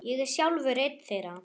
Ég er sjálfur einn þeirra.